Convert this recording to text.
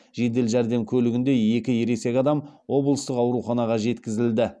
жедел жәрдем көлігінде екі ересек адам облыстық ауруханаға жеткізілді